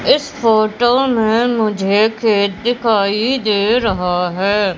इस फोटो में मुझे खेत दिखाई दे रहा है।